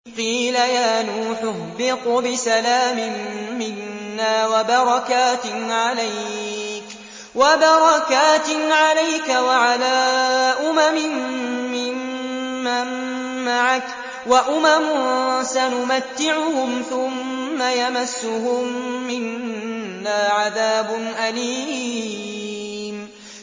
قِيلَ يَا نُوحُ اهْبِطْ بِسَلَامٍ مِّنَّا وَبَرَكَاتٍ عَلَيْكَ وَعَلَىٰ أُمَمٍ مِّمَّن مَّعَكَ ۚ وَأُمَمٌ سَنُمَتِّعُهُمْ ثُمَّ يَمَسُّهُم مِّنَّا عَذَابٌ أَلِيمٌ